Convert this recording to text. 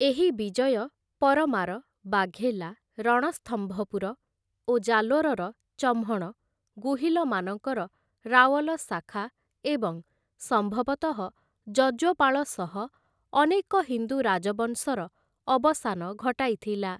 ଏହି ବିଜୟ ପରମାର, ବାଘେଲା, ରଣସ୍ତମ୍ଭପୁର ଓ ଜାଲୋରର ଚହ୍ମଣ, ଗୁହିଲମାନଙ୍କର ରାୱଲ ଶାଖା ଏବଂ ସମ୍ଭବତଃ ଯଜ୍ୱପାଳ ସହ ଅନେକ ହିନ୍ଦୁ ରାଜବଂଶର ଅବସାନ ଘଟାଇଥିଲା ।